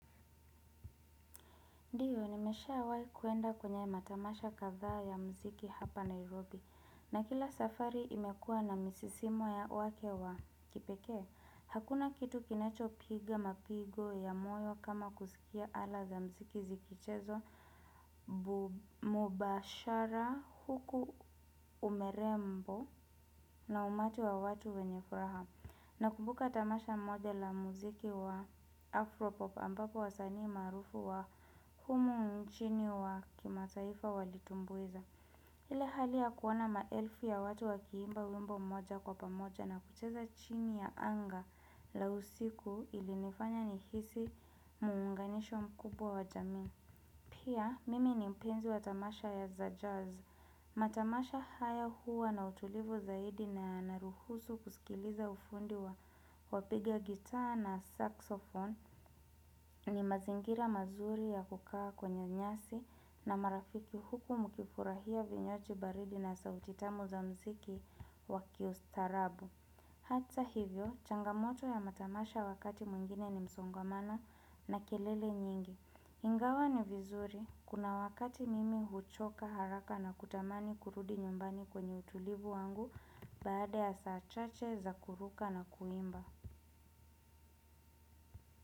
Ndio, nimeshawai kuenda kwenye matamasha kadhaa ya mziki hapa Nairobi. Na kila safari imekuwa na misisimo ya wake wa kipekee. Hakuna kitu kinachopiga mapigo ya moyo kama kusikia ala za mziki zikichezwa mubashara huku umerembo na umati wa watu wenye furaha. Nakumbuka tamasha moja la muziki wa Afropop ambapo wasanii maarufu wa humu nchini wa kimataifa walitumbuiza. Ile hali ya kuona maelfu ya watu wakiimba wimbo mmoja kwa pamoja na kucheza chini ya anga la usiku ilinifanya nihisi muunganisho mkubwa wa jamii. Pia mimi ni mpenzi wa tamasha ya za jazz. Matamasha haya huwa na utulivu zaidi na yanaruhusu kusikiliza ufundi wa wapiga gitaa na saxofone ni mazingira mazuri ya kukaa kwenye nyasi na marafiki huku mkifurahia vinywaji baridi na sauti tamu za mziki wa kiustarabu. Hata hivyo, changamoto ya matamasha wakati mwingine ni msongmano na kelele nyingi. Ingawa ni vizuri, kuna wakati mimi huchoka haraka na kutamani kurudi nyumbani kwenye utulivu wangu baada ya saa chache za kuruka na kuimba.